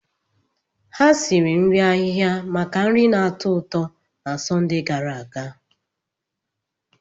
Ha siri nri ahịhịa maka nri na-atọ ụtọ na Sọnde gara aga.